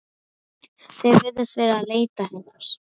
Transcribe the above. Þeir virðast vera að leita hennar.